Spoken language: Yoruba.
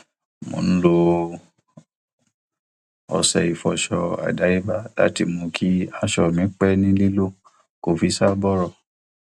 mo ń lo ọṣẹ ìfọṣọ àdáyébá láti mú kí aṣọ mi pẹ ní lílò kò fi ṣá bọrọ